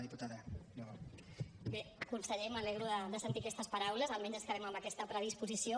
bé conseller m’alegro de sentir aquestes paraules almenys ens quedem amb aquesta predisposició